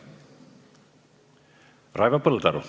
Raivo Põldaru.